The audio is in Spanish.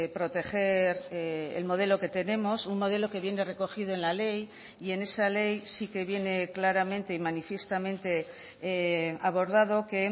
proteger el modelo que tenemos un modelo que viene recogido en la ley y en esa ley sí que viene claramente y manifiestamente abordado que